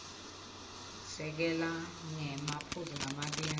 sekela ngemaphuzu lamabili